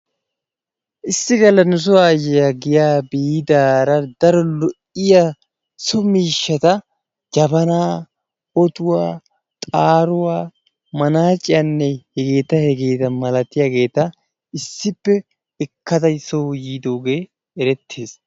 Issi galla nuso aayyiya giyaa biidaara daro lo"iya so miishshat: jabanaa, otuwa, xaaruwa, manaaciyanne hegeeta hegeeta milatiyageeta issippe ekkada soo yiidoogee erettees.